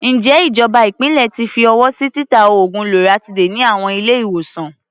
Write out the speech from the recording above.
Ǹjẹ́ ìjọba ìpínlẹ̀ ti fi ọwọ́ sí títa oògùn loratiday ní àwọn ilé-ìwòsàn?